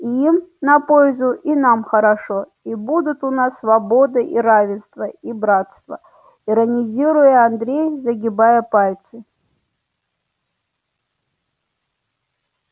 и им на пользу и нам хорошо и будут у нас свобода и равенство и братство иронизируя андрей загибая пальцы